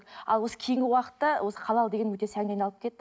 ал осы кейінгі уақытта осы халал деген өте сәнге айналып кетті